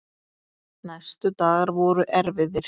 Næstu dagar voru erfiðir.